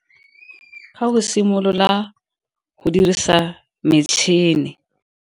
Ga o simolola go dirisa metšhini.